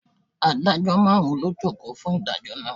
Adájọ́ márùn-ún ló jókòó fún ìdájọ́ náà.